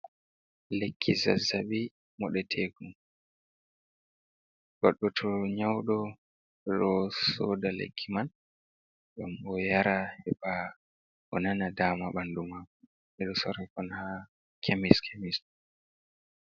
Lekki zazabi modetekon, goddo to nyaudo do soda lekki man gam o yara heba o nana dama bandu mako bedo sora on ha kemis khemis